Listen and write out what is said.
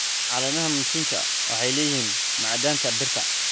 Caleemaha mchicha waxay leeyihiin macdanta birta.